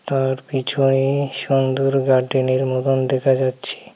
তার পিছনে সুন্দর গার্ডেনের মতন দেখা যাচ্ছে.